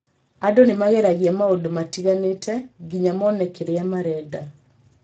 Andũ nĩ mageragia maũndũ matiganĩte nginya mone kĩrĩa marenda.